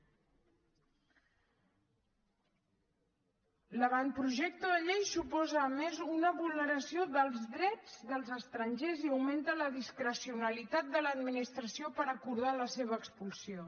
l’avantprojecte de llei suposa a més una vulneració dels drets dels estrangers i augmenta la discrecionalitat de l’administració per acordar la seva expulsió